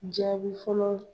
Jaabi fɔlɔ